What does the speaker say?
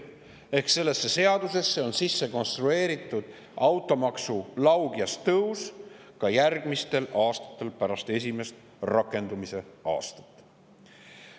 Ehk sellesse seadusesse on sisse konstrueeritud automaksu laugjas tõus ka järgmistel aastatel pärast esimest, rakendumise aastat.